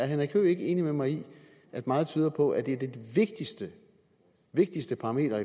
henrik høegh ikke enig med mig i at meget tyder på at et af de vigtigste vigtigste parametre